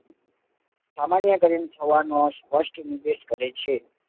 અમાન્યકરણ થવાનો સ્પષ્ઠ નિર્દેશ કરે છે